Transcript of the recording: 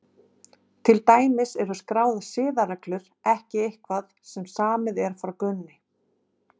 Til dæmis eru skráðar siðareglur ekki eitthvað sem samið er frá grunni.